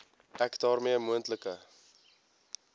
ek daarmee moontlike